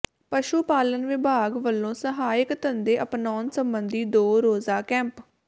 ਪਸ਼ੂ ਪਾਲਣ ਵਿਭਾਗ ਵਲੋਂ ਸਹਾਇਕ ਧੰਦੇ ਅਪਣਾਉਣ ਸਬੰਧੀ ਦੋ ਰੋਜ਼ਾ ਕੈਂਪ